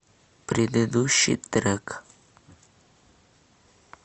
предыдущий трек